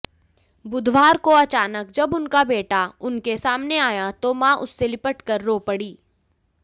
बुधवार को अचानक जब उनका बेटा उनके सामने आया तो मां उससे लिपटकर रो पड़ी